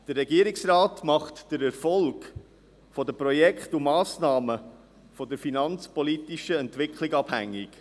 Der Regierungsrat macht den Erfolg der Projekte und Massnahmen von der finanzpolitischen Entwicklung abhängig.